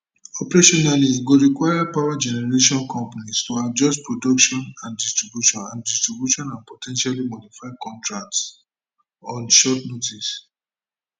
operationally e go require power generation companies to adjust production and distribution and distribution and po ten tially modify contracts on short notice